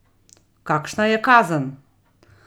Kakšna je kazen?